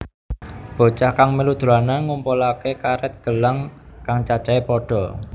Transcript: Bocah kang mèlu dolanan ngumpulaké karèt gelang kang cacahé pada